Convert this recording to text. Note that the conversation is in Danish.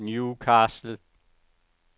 Newcastle